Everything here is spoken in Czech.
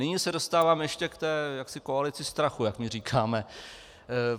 Nyní se dostávám ještě k té "koalici strachu", jak my říkáme.